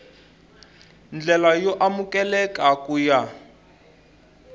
ndlela yo amukeleka ku ya